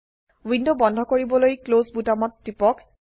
window বন্ধ কৰিবলৈ close বোতামত টিপক